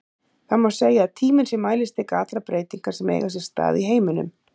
Það má segja að tíminn sé mælistika allra breytinga sem eiga sér stað í heiminum.